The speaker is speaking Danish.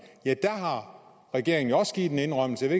har regeringen også givet en indrømmelse jeg